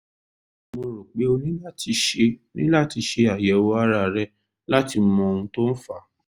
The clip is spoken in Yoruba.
mo rò pé o ní láti ṣe ní láti ṣe àyẹ̀wò ara rẹ láti mọ ohun tó fà á